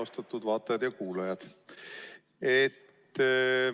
Austatud vaatajad ja kuulajad!